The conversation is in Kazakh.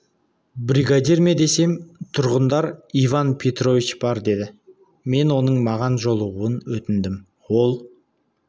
бригадир ме десем тұрғындар иван петрович бар деді мен оның маған жолығуын өтіндім ол